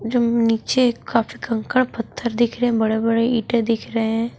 नीचे काफी कंकड़ पत्थर दिख रहे हैं बड़े-बड़े ईटे दिख रहे हैं।